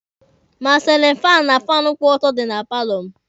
Ma silin faanụ ma faanụ kwụ ọtọ dị na paalọ m.